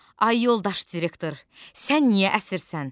Ay yoldaş direktor, sən niyə əsirsən?